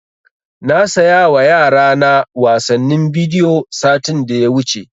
Na saya wa yara na wasannin bidiyo satin da ya wuce